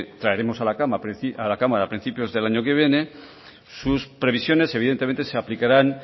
traeremos a la cámara a principios del año que viene sus previsiones evidentemente se aplicarán